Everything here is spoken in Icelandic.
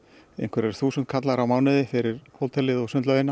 einhverjir þúsundkallar á mánuði fyrir hótelið og sundlaugina